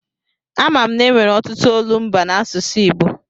A ma m na-enwere ọtụtụ olumba n'asụsụ Igbo.